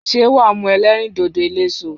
Ṣé wàá mu elérìndòdò eléso